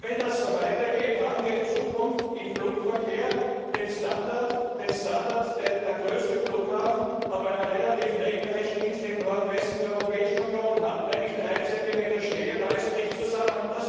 Und wenn das so weitergeht, haben wir in Zukunft im Flugverkehr den Standard, den der größte Flughafen auf einer relativ regnerischen Insel im Nordwesten der Europäischen Union hat nämlich drei Zentimeter Schnee, und alles bricht zusammen.